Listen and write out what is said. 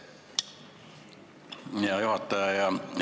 Hea juhataja!